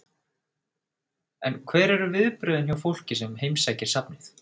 En hver eru viðbrögðin hjá fólki sem heimsækir safnið?